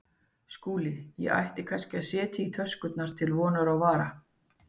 SKÚLI: Ég ætti kannski að setja í töskurnar til vonar og vara.